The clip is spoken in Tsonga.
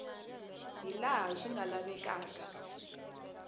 hi laha swi nga lavekaka